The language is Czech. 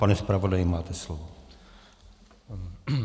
Pane zpravodaji, máte slovo.